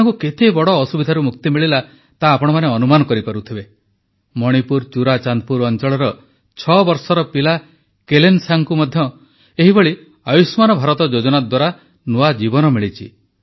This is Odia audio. ଏମାନଙ୍କୁ କେତେବଡ଼ ଅସୁବିଧାରୁ ମୁକ୍ତି ମିଳିଲା ତାହା ଆପଣମାନେ ଅନୁମାନ କରିପାରୁଥିବେ ମଣିପୁର ଚୁରାଚାନ୍ଦପୁର ଅଂଚଳର ଛଅବର୍ଷର ପିଲା କେଲେନ୍ସାଙ୍ଗଙ୍କୁ ମଧ୍ୟ ଏହିଭଳି ଆୟୁଷ୍ମାନ ଭାରତ ଯୋଜନା ଦ୍ୱାରା ନୂଆ ଜୀବନ ମିଳିଛି